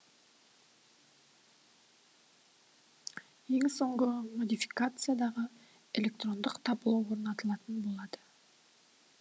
ең соңғы модификациядағы электрондық табло орнатылатын болады